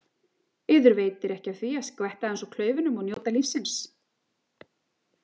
Yður veitir ekki af því að skvetta aðeins úr klaufunum og njóta lífsins.